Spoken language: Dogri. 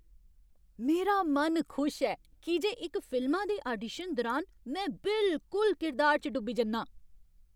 मेरा मन खुश ऐ की जे इक फिल्मा दे ऑडिशन दुरान में बिल्कुल किरदार च डुब्बी जन्नां।